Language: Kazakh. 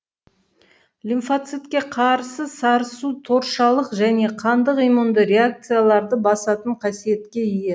лимфоцитке қарсы сарысу торшалық және қандық иммунды реакцияларды басатын қасиетке ие